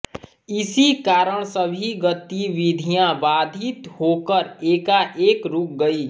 इसी कारण सभी गतिविधियाँ बाधित होकर एकाएक रूक गयीं